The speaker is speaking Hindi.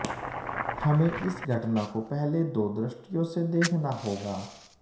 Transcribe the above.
हमें इस घटना को पहले दो दृष्टियों से देखना होगा